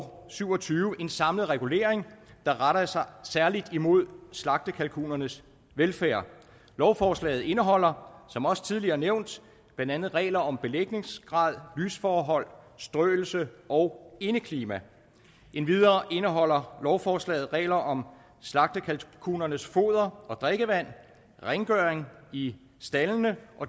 syv og tyve en samlet regulering der retter sig særlig imod slagtekalkunernes velfærd lovforslaget indeholder som også tidligere nævnt blandt andet regler om belægningsgrad lysforhold strøelse og indeklima endvidere indeholder lovforslaget regler om slagtekalkunernes foder og drikkevand rengøring i staldene